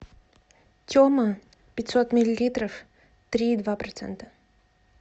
тема пятьсот миллилитров три и два процента